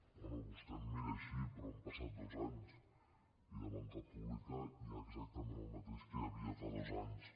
bé vostè em mira així però han passat dos anys i de banca pública hi ha exactament el mateix que hi havia fa dos anys